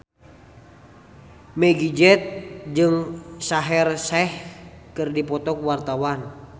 Meggie Z jeung Shaheer Sheikh keur dipoto ku wartawan